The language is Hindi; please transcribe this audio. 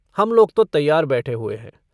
हम लोग तो तैयार बैठे हुए हैं।